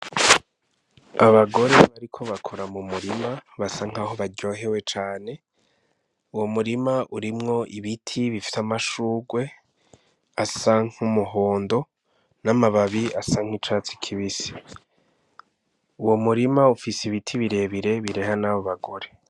Abagore bariko bakora mu murima basa nk'aho baryohewe cane, uwo murima urimwo ibiti bifise amashugwe asa nk'umuhondo n'amababi asa nk'icatsi kibisi. Uwo murima ufise ibiti birebire bireha nabo bagore.